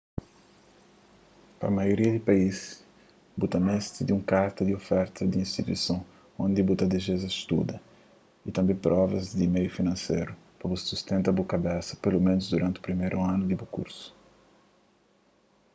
pa maioria di país bu ta meste di un karta di oferta di instituison undi ki bu ta dizeja studa y tanbê provas di meiu finanseru pa bu sustenta bu kabesa peloménus duranti priméru anu di bu kursu